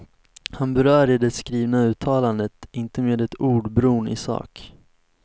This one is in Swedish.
Han berör i det skrivna uttalandet inte med ett ord bron i sak.